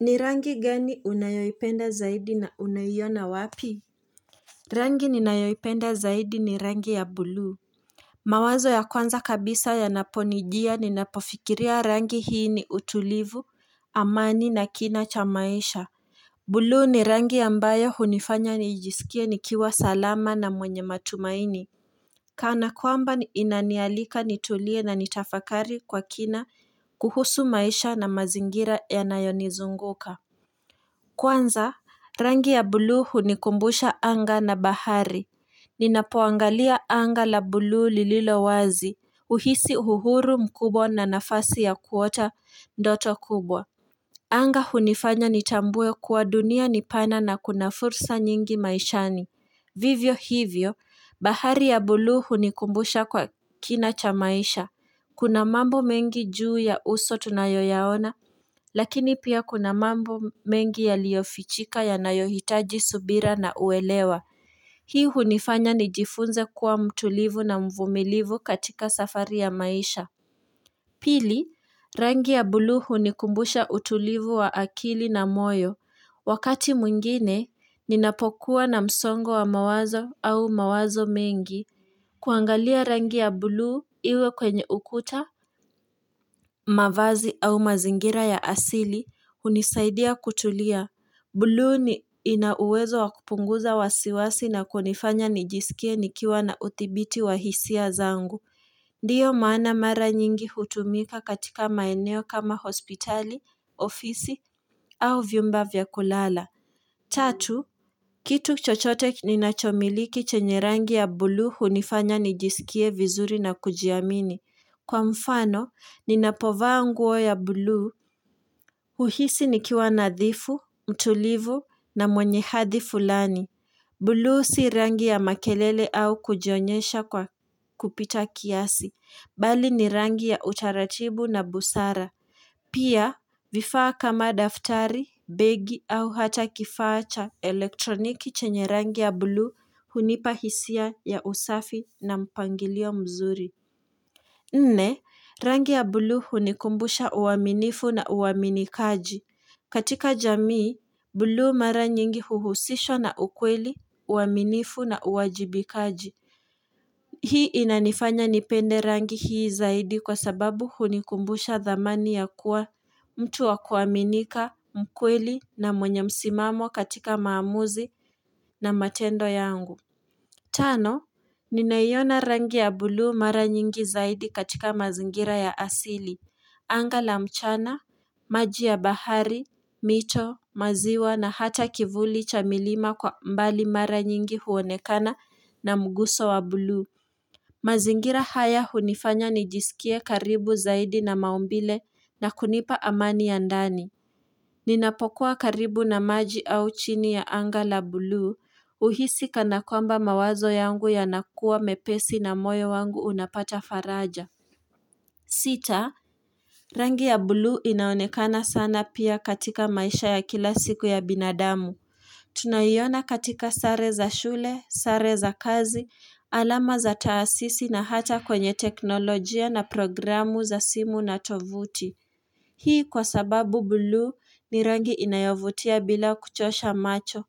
Ni rangi gani unayoipenda zaidi na unaiona wapi? Rangi ninayoipenda zaidi ni rangi ya bulu mawazo ya kwanza kabisa yanaponijia ninapofikiria rangi hii ni utulivu amani na kina cha maisha buluu ni rangi ambayo hunifanya niijisikie nikiwa salama na mwenye matumaini Kana kwamba inanialika nitulie na nitafakari kwa kina kuhusu maisha na mazingira yanayonizunguka Kwanza, rangi ya buluu hunikumbusha anga na bahari. Ninapoangalia anga la buluu lililo wazi, huhisi uhuru mkubwa na nafasi ya kuota ndoto kubwa. Anga hunifanya nitambue kuwa dunia ni pana na kuna fursa nyingi maishani. Vivyo hivyo, bahari ya buluu hunikumbusha kwa kina cha maisha. Kuna mambo mengi juu ya uso tunayoyaona, lakini pia kuna mambo mengi yaliofichika yanayohitaji subira na uelewa. Hii hunifanya nijifunze kuwa mtulivu na mvumilivu katika safari ya maisha. Pili, rangi ya buluu hunikumbusha utulivu wa akili na moyo. Wakati mwingine, ninapokuwa na msongo wa mawazo au mawazo mengi. Kuangalia rangi ya buluu iwe kwenye ukuta, mavazi au mazingira ya asili hunisaidia kutulia. Buluu ni ina uwezo wa kupunguza wasiwasi na kunifanya nijisikie nikiwa na uthibiti wa hisia zangu. Ndiyo maana mara nyingi hutumika katika maeneo kama hospitali, ofisi au vyumba vya kulala. Tatu, kitu chochote ninachomiliki chenye rangi ya buluu hunifanya nijisikie vizuri na kujiamini. Kwa mfano, ninapovaa nguo ya buluu, huhisi nikiwa nadhifu, mtulivu na mwenye hadhi fulani. Buluu si rangi ya makelele au kujonyesha kwa kupita kiasi, bali ni rangi ya utaratibu na busara. Pia, vifaa kama daftari, begi au hata kifaa cha elektroniki chenye rangi ya buluu hunipa hisia ya usafi na mpangilio mzuri. Nne, rangi ya buluu hunikumbusha uaminifu na uaminikaji. Katika jamii, buluu mara nyingi huhusishwa na ukweli, uaminifu na uwajibikaji. Hii inanifanya nipende rangi hii zaidi kwa sababu hunikumbusha thamani ya kuwa mtu wa kuaminika, mkweli na mwenye msimamo katika maamuzi na matendo yangu. Tano, ninaiona rangi ya buluu mara nyingi zaidi katika mazingira ya asili, anga la mchana, maji ya bahari, mito, maziwa na hata kivuli cha milima kwa mbali mara nyingi huonekana na mguso wa buluu. Mazingira haya hunifanya nijisikie karibu zaidi na maumbile na kunipa amani ya ndani. Ninapokuwa karibu na maji au chini ya anga la buluu huhisi kanakwamba mawazo yangu yanakuwa mepesi na moyo wangu unapata faraja sita, rangi ya buluu inaonekana sana pia katika maisha ya kila siku ya binadamu Tunaiona katika sare za shule, sare za kazi, alama za taasisi na hata kwenye teknolojia na programu za simu na tovuti Hii kwa sababu buluu ni rangi inayovutia bila kuchosha macho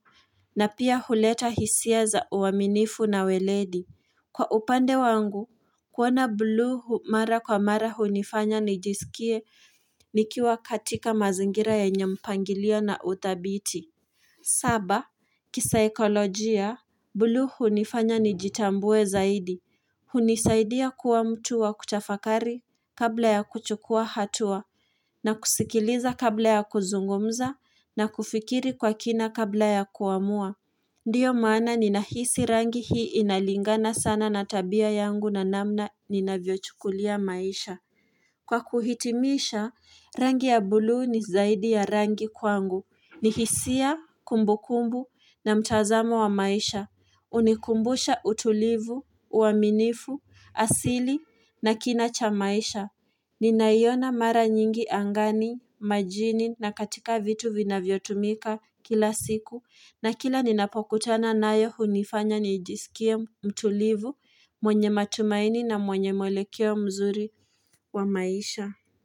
na pia huleta hisia za uaminifu na weledi. Kwa upande wangu, kuona buluu mara kwa mara hunifanya nijisikie nikiwa katika mazingira yenye mpangilio na uthabiti. Saba, kisaikolojia, buluu hunifanya nijitambue zaidi. Hunisaidia kuwa mtu wa kutafakari kabla ya kuchukua hatua na kusikiliza kabla ya kuzungumza na kufikiri kwa kina kabla ya kuamua. Ndiyo maana ninahisi rangi hii inalingana sana na tabia yangu na namna ninavyochukulia maisha. Kwa kuhitimisha, rangi ya buluu ni zaidi ya rangi kwangu. Ni hisia, kumbukumbu na mtazamo wa maisha. Hunikumbusha utulivu, uaminifu, asili na kina cha maisha. Ninaiona mara nyingi angani, majini na katika vitu vinavyotumika kila siku. Na kila ninapokutana nayo hunifanya nijisikie mtulivu mwenye matumaini na mwenye mwelekeo mzuri wa maisha.